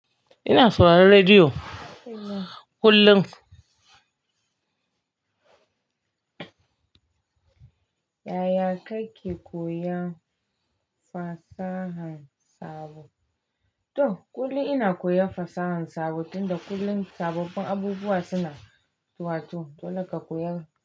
Ina sauraron rediyo kullum. Yaya kake koyan fasahan sabo? To, kullum ina koya fasahan sabo, tunda kullum sababbin abubuwa suna wato. Don haka koyon.